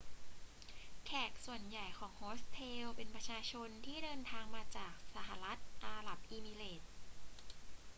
แขกส่วนใหญ่ของโฮสเทลเป็นประชาชนที่เดินทางมาจากสหรัฐอาหรับเอมิเรตส์